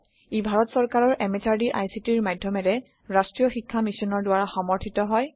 ই ভাৰত সৰকাৰৰ MHRDৰ ICTৰ মাধ্যমেৰে ৰাষ্ট্ৰীয় শীক্ষা মিছনৰ দ্ৱাৰা সমৰ্থিত হয়